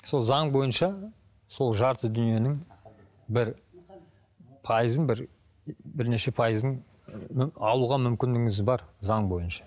сол заң бойынша сол жарты дүниенің бір пайызын бір бірнеше пайызын алуға мүмкіндігіңіз бар заң бойынша